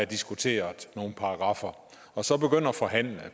diskutere nogle paragraffer og så begynde at forhandle